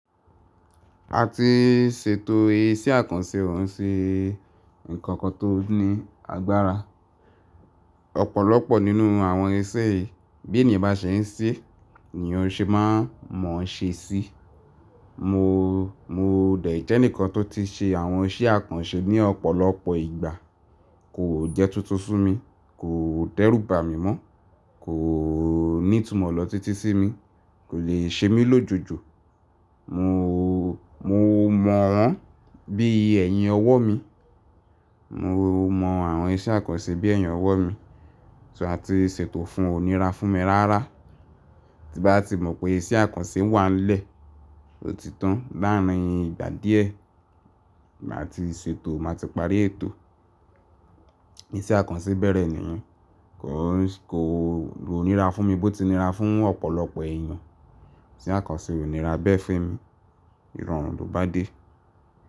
A ti ṣètò iṣẹ́ àkànṣe, òun ṣe nǹkan kan tó ní agbára. Ọ̀pọ̀lọpọ̀ nínú àwọn iṣẹ́ yii bí ènìyàn bá ṣe ń ṣe, ni ó ṣe máa mọ̀ ṣe sí. Mo, mo dẹ̀ jẹ́ eǹikan tó ti ṣe àwọn iṣẹ́ àkànṣe ní ọ̀pọ̀lọpọ̀ ìgbà. Kò jẹ́ tuntun fún mi, kò dẹ́rùbà mi mọ́, kò ní ìtumọ̀ lọ̀títí sí mi, kò lè ṣe mí lójoojo. Mo, mo mọ̀ wọ́n bí ẹ̀yin ọwọ́ mi. Mo mọ àwọn iṣẹ́ àkànṣe bí ẹ̀yin ọwọ́ mi, tí a ti ṣètò fún onírà fún mi rárá. Tí bá ti mọ̀ pé iṣẹ́ àkànṣe wà lẹ́, ó ti tán láàárín ìgbà díẹ̀. Máa ti ṣètò, máa ti parí ètò. Iṣẹ́ àkànṣe bẹ̀rẹ̀ nìyẹn. Kò, kò, kò ní rà fún mi bó ti rà fún ọ̀pọ̀lọpọ̀ èèyàn. Ìṣẹ́ àkànṣe ò ní rà bẹ́ẹ̀ fe'mi. Ìrọ̀rùn ló bá dé.